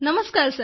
नमस्कार